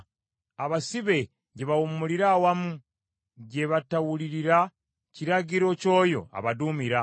Abasibe gye bawummulira awamu, gye batawulirira kiragiro ky’oyo abaduumira.